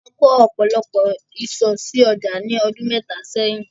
A kò ọ̀pọ̀lọpọ̀ ìsò sí ọjà ní ọdún mẹ́ta sẹ́yìn.